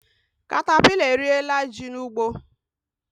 Katapila eriela ji n'ugbo